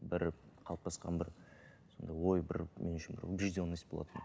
бір қалыптасқан бір сондай ой бір мен үшін бір убежденность болатын